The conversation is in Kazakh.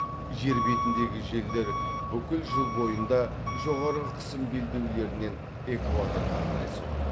жер бетіндегі желдер бүкіл жыл бойында жоғары қысым белдеулерінен экваторға қарай соғады